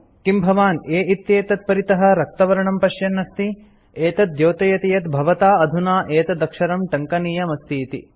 किम् भवान् a इत्येतत् परितः रक्तवर्णं पश्यन् अस्ति एतत् द्योतयति यत् भवता अधुना एतदक्षरं टङ्कनीयमस्तीति